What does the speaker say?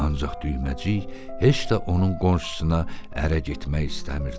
Ancaq düyməcik heç də onun qonşusuna ərə getmək istəmirdi.